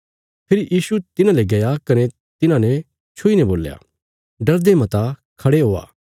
फेरी यीशु तिन्हांले गया कने तिन्हांने छुईने बोल्या डरदे मता खड़े होआ